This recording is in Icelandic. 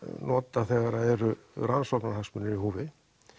notað þegar það eru rannsóknarhagsmunir í húfi